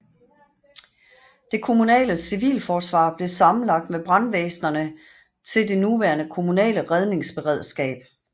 Det kommunale civilforsvar blev sammenlagt med brandvæsenerne til det nuværende kommunale redningsberedskab